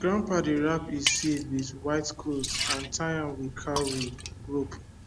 grandpa dey wrap e seed with white cloth and tie am with cowry rope